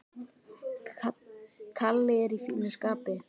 Kalli er í fínu skapi.